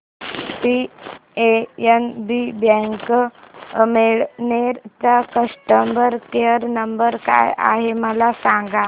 PNB bank Amalner चा customer care number काय आहे मला सांगा